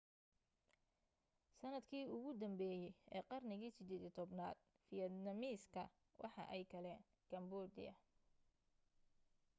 sanadkii ugu danbeye ee qarnigii 18aad vietnamese-ka waxa ay galeen cambodia